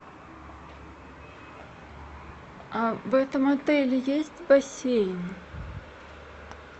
в этом отеле есть бассейн